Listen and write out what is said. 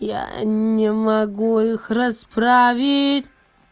яя не могу их расправиить